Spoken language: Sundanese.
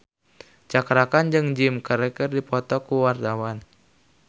Cakra Khan jeung Jim Carey keur dipoto ku wartawan